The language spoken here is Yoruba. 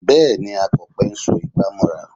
Bẹ́ẹ̀ ni, Akọ̀pẹ ń so igbà mọ́ra